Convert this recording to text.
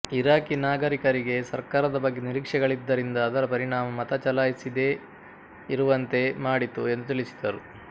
ಇರಾಕಿನಾಗರಿಕರಿಗೆ ಸರ್ಕಾರದ ಬಗ್ಗೆ ನಿರೀಕ್ಷೆಗಳಿದ್ದರಿಂದ ಅದರ ಪರಿಣಾಮ ಮತ ಚಲಾಯಿಸಿದೇ ಇರುವಂತೆ ಮಾಡಿತು ಎಂದು ತಿಳಿಸಿದರು